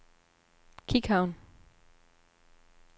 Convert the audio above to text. Kikhavn